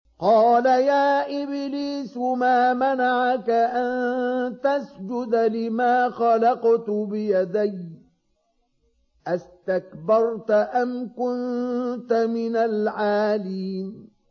قَالَ يَا إِبْلِيسُ مَا مَنَعَكَ أَن تَسْجُدَ لِمَا خَلَقْتُ بِيَدَيَّ ۖ أَسْتَكْبَرْتَ أَمْ كُنتَ مِنَ الْعَالِينَ